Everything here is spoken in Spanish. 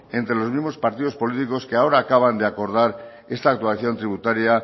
entre los mismos partidos políticos que ahora acaban de acordar esta actuación tributaria